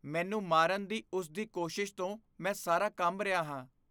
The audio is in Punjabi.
ਮੈਨੂੰ ਮਾਰਨ ਦੀ ਉਸ ਦੀ ਕੋਸ਼ਿਸ਼ ਤੋਂ ਮੈਂ ਸਾਰਾ ਕੰਬ ਰਿਹਾ ਹਾਂ।